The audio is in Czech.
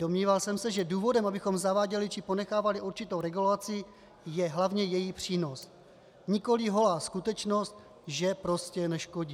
Domníval jsem se, že důvodem, abychom zaváděli či ponechávali určitou regulaci, je hlavně její přínos, nikoli holá skutečnost, že prostě neškodí.